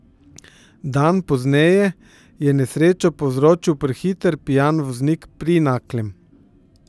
Dan pozneje je nesrečo povzročil prehiter pijan voznik pri Naklem.